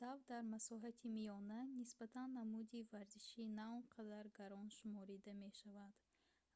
дав дар масоҳати миёна нисбатан намуди варзиши наонқадар гарон шуморида мешавад